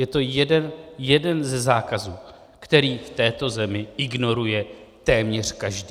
Je to jeden ze zákazů, který v této zemi ignoruje téměř každý.